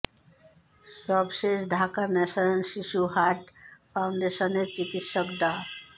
সব শেষ ঢাকার ন্যাশনাল শিশু হার্ট ফাউন্ডেশনের চিকিৎসক ডা